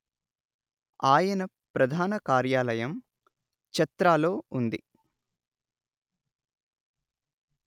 ఆయన ప్రధాన కార్యాలయం చత్రాలో ఉంది